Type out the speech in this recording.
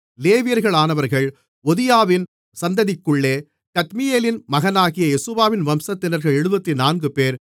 லேவியர்களானவர்கள் ஒதியாவின் சந்ததிக்குள்ளே கத்மியேலின் மகனாகிய யெசுவாவின் வம்சத்தினர்கள் 74 பேர்